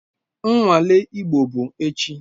Nnwale Igbo bụ echi